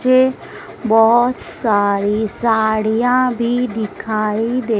मुझे बहोत सारी साड़ियां भी दिखाई दे--